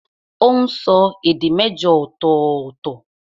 Ó n sọ èdè mẹ́jọ ọ̀tọ̀ọ̀tọ̀